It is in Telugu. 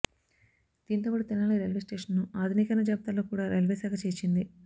దీంతో పాటు తెనాలి రైల్వే స్టేషనను ఆధునికీకరణ జాబితాలో కూడా రైల్వే శాఖ చేర్చింది